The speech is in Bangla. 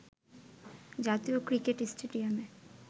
জাতীয় ক্রিকেট স্টেডিয়ামে